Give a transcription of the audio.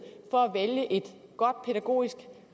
for at vælge et godt pædagogisk